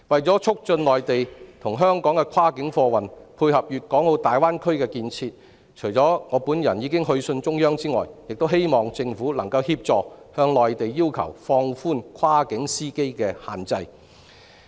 為促進內地與香港的跨境貨運，配合粵港澳大灣區建設，我已就此去信中央，並希望政府能協助向內地要求放寬跨境司機的限制。